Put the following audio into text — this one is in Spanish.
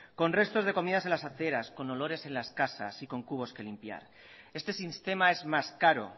con restos de comidas en las aceras con olores en las casas y con cubos que limpiar este sistema es más caro